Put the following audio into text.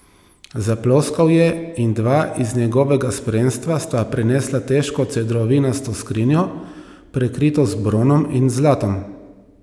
Zaploskal je in dva iz njegovega spremstva sta prinesla težko cedrovinasto skrinjo, prekrito z bronom in zlatom.